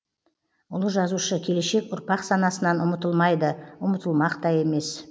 ұлы жазушы келешек ұрпақ санасынан ұмытылмайды ұмытылмақ та емес